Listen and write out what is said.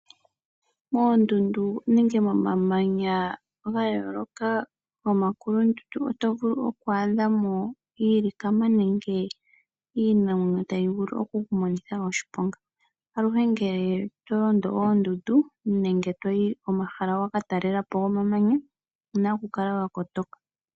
Moondunda nenge momamanya ga yooloka nomomakulundulu oto vulu okwaadhamo iilikama nenge iinamwenyo tayi vulu okukumonitha oshiponga aluhe ngele to londo oondundu nenge toyi komahala wakatalelapo gomamanya owu na okukala wa kotoka.